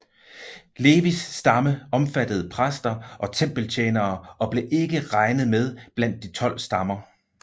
Levis stamme omfattede præster og tempeltjenere og blev ikke regnet med blandt de tolv stammer